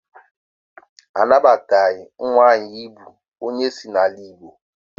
Anabataghị ezinụlọ nwaanyị bụ onye isi n'ala Igbo.